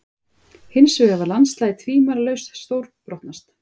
Hinsvegar var landslagið tvímælalaust stórbrotnast.